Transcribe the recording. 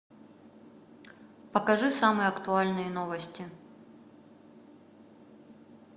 покажи самые актуальные новости